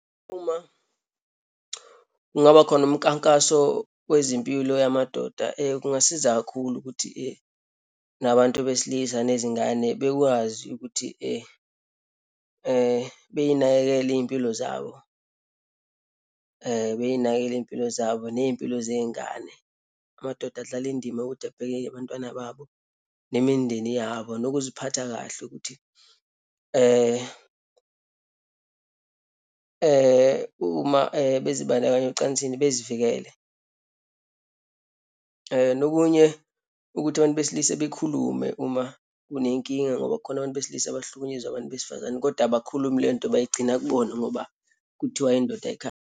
Uma kungaba khona umkankaso wezempilo yamadoda, kungasiza kakhulu ukuthi nabantu besilisa nezingane bekwazi ukuthi beyinakekele iyimpilo zabo beyinakekele iyimpilo zabo, neyimpilo zeyingane. Amadoda adlala indima yokuthi abheke-ke abantwana babo, nemindeni yabo, nokuziphatha kahle ukuthi uma bezibandakanya ocansini bezivikele. And okunye ukuthi abantu besilisa bekhulume uma unenkinga ngoba khona abantu besilisa abahlukunyezwa abantu besifazane kodwa abakhulumi leyonto, bayigcina kubona ngoba kuthiwa indoda ayikhali.